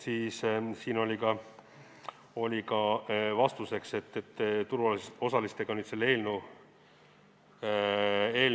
Siin oli vastus, et turuosalistega on tehtud koostööd.